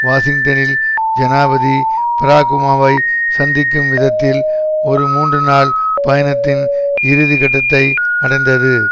வாஷிங்டனில் ஜனாதிபதி பாரக் ஒபாமாவை சந்திக்கும் விதத்தில் ஒரு மூன்று நாள் பயணத்தின் இறுதி கட்டத்தை அடைந்தது